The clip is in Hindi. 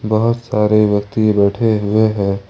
बहुत सारे व्यक्ति बैठे हुए हैं।